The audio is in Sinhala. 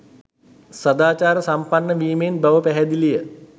සදාචාර සම්පන්න වීමෙන් බව පැහැදිලිය